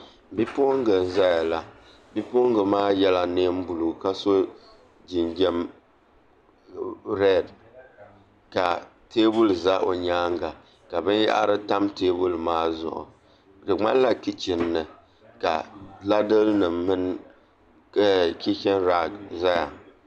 Bipuɣunbili n ʒɛya la bipuɣungi maa yɛla neen buluu ka so jinjɛm reed ka teebuli ʒɛ o nyaanga ka binyahari tam teebuli maa zuɣudi ŋmanila kichin ni ka ladili nim mini kichin raag ʒɛya